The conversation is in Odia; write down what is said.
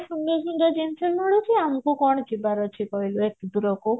ସୁନ୍ଦର ସୁନ୍ଦର ଜିନିଷ ମିଳୁଛି ଆମକୁ କୁଆଡେ ଯିବାର ଅଛି କହିଲୁ ଦୂରକୁ